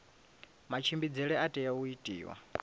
matshimbidzele a tea u itiwa